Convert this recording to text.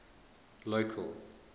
local